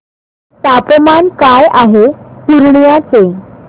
तापमान काय आहे पूर्णिया चे